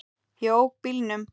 Ég ók bílnum.